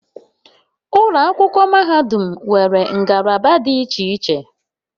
Ụlọ akwụkwọ mahadum nwere ngalaba dị iche iche